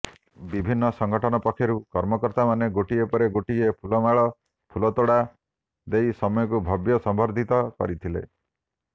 ବିଭିନ୍ନ ସଂଗଠନ ପକ୍ଷରୁ କର୍ମକର୍ତ୍ତାମାନେ ଗୋଟିଏ ପରେ ଗୋଟିଏ ଫୁଲମାଳ ଫୁଳତୋଡ଼ା ଦେଇ ସୌମ୍ୟଙ୍କୁ ଭବ୍ୟ ସମ୍ବର୍ଦ୍ଧିତ କରିଥିଲେ